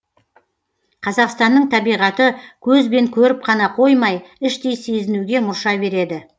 қазақстанның табиғаты көзбен көріп қана қоймай іштей сезінуге мұрша береді